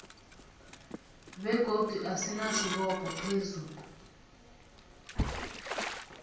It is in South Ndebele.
begodu asinasibopho phezu